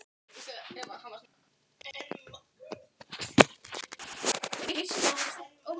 En síðasta kvöldið var fjörugast því þá var haldinn dansleikur.